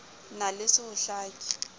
na le ho se hlake